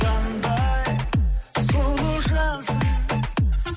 қандай сұлу жансың